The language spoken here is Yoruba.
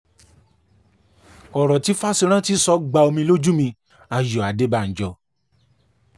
ọ̀rọ̀ tí fásirántí sọ gba omi lójú mi-ayọ̀ adébànjọ́